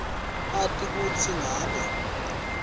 ati kutsi ngabe